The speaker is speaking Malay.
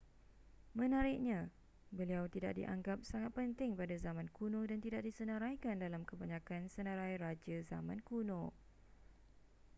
menariknya beliau tidak dianggap sangat penting pada zaman kuno dan tidak disenaraikan dalam kebanyakan senarai raja zaman kuno